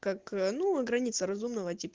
как ну и границы разумного тип